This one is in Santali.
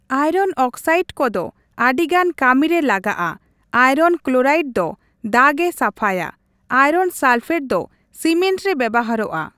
ᱟᱭᱨᱚᱱ ᱚᱠᱥᱟᱭᱤᱰ ᱠᱚᱫᱚ ᱟᱹᱰᱤ ᱜᱟᱱ ᱠᱟᱹᱢᱤ ᱨᱮ ᱞᱟᱜᱟᱜᱼᱟ, ᱟᱭᱨᱚᱱ ᱠᱞᱚᱨᱟᱭᱤᱰ ᱫᱚ ᱫᱟᱜᱼᱮ ᱥᱟᱯᱷᱟᱭᱟ ᱾ ᱟᱭᱨᱚᱱ ᱥᱟᱞᱯᱷᱮᱴ ᱫᱚ ᱥᱤᱢᱮᱱᱴ ᱨᱮ ᱵᱮᱵᱦᱟᱨᱚᱜᱼᱟ ᱾